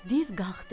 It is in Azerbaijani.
Div qalxdı.